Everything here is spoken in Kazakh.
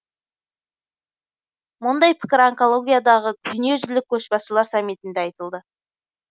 мұндай пікір онкологиядағы дүниежүзілік көшбасшылар саммитінде айтылды